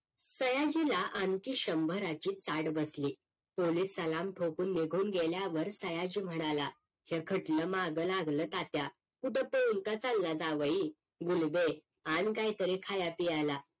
सयाजीला आणखी शंभराची ताट बसली पोलिस सलाम ठोकून निघून गेल्या वर सयाजी म्हणाला हे खटल माग लागलं तात्या कुठ तोडका सांगा जावई मुलगे आन काहीतरी खाया पियाला